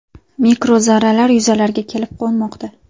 Mikrozarralar yuzalarga kelib qo‘nmoqda.